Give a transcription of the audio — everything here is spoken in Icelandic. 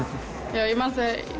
ég man